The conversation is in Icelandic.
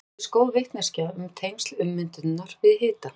Þannig hefur fengist góð vitneskja um tengsl ummyndunar við hita.